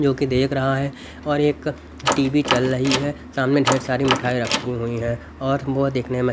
जोकि देख रहा है और एक टी_वी चल रही है सामने ढेर सारी मिठाई रखी हुई है और वो देखने मे--